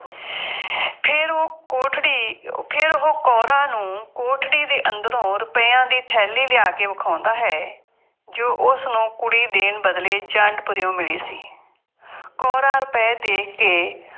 ਫੇਰ ਉਹ ਕੋਠੜੀ, ਫੇਰ ਉਹ ਕੌਰਾਂ ਨੂੰ ਕੋਠੜੀ ਦੇ ਅੰਦਰੋਂ ਰੁਪਇਆ ਦੀ ਥੈਲੀ ਲਿਆ ਕੇ ਵਿਖਾਉਂਦਾ ਹੈ, ਜੋ ਉਸਨੂੰ ਕੁੜੀ ਦੇਣ ਬਦਲੇ ਜੰਡਪੁਰਿਉਂ ਮਿਲੀ ਸੀ। ਕੌਰਾਂ ਰੁਪਏ ਦੇਖ ਕੇ